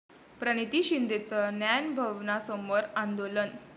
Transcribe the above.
प्रणिती शिंदेंचं न्यायभवनासमोर आंदोलन